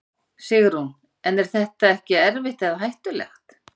Sigrún: En er þetta ekkert erfitt eða hættulegt?